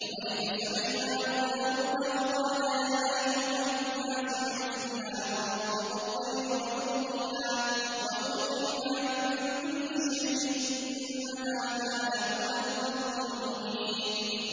وَوَرِثَ سُلَيْمَانُ دَاوُودَ ۖ وَقَالَ يَا أَيُّهَا النَّاسُ عُلِّمْنَا مَنطِقَ الطَّيْرِ وَأُوتِينَا مِن كُلِّ شَيْءٍ ۖ إِنَّ هَٰذَا لَهُوَ الْفَضْلُ الْمُبِينُ